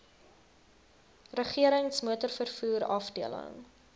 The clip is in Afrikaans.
regerings motorvervoer afdeling